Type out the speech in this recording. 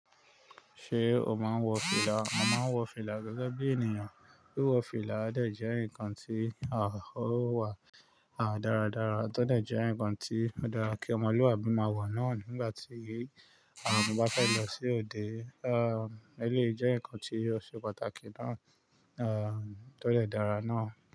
Ṣé o máa ń wọ fìlà? Mo máa ń wọ fìlà gẹ́gẹ́ bí ènìyàn. Wíwọ fìlà dẹ̀ jẹ́ nǹkan tí a ó wà dáradára, tó dẹ̀ jẹ́ ǹkan tí ó dára kí ọmọlúàbí máa wọ̀ náà nígbàtí àwọn òbí bá fẹ́ lọ sí òde. E, ó eleyi jẹ́ ǹkan tí ó ṣe pàtàkì náà, tó dè dára náà.